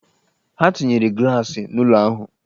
Ha tinyere glaasị n'ụlọ ahụ